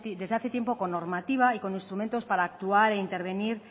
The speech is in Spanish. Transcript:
desde hace tiempo con normativa y con instrumentos para actuar e intervenir